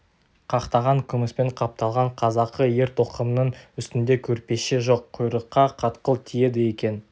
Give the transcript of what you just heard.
қақтаған күміспен қапталған қазақы ер тоқымның үстінде көрпеше жоқ құйрыққа қатқыл тиеді екен